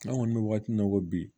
An kɔni bɛ waati min na i ko bi